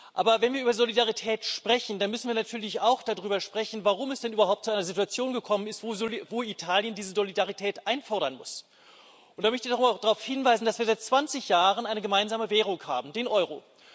Aber wenn wir über Solidarität sprechen, dann müssen wir natürlich auch darüber sprechen, warum es denn überhaupt zu einer Situation gekommen ist, wo Italien diese Solidarität einfordern muss. Und da möchte ich noch einmal darauf hinweisen, dass wir seit 20 Jahren eine gemeinsame Währung haben den Euro.